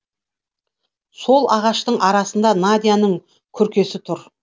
сол ағаштың арасында надяның күркесі тұр